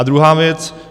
A druhá věc.